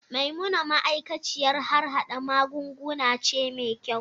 Maimuna ma'aikaciyar harhada magunguna ce mai kyau.